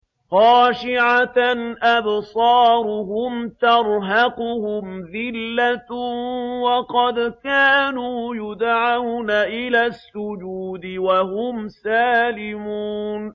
خَاشِعَةً أَبْصَارُهُمْ تَرْهَقُهُمْ ذِلَّةٌ ۖ وَقَدْ كَانُوا يُدْعَوْنَ إِلَى السُّجُودِ وَهُمْ سَالِمُونَ